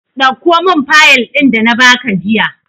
Dauko min fayil ɗin da na ba ka jiya!